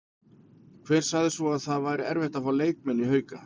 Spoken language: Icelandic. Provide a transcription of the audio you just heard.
Hver sagði svo að það væri erfitt að fá leikmenn í Hauka?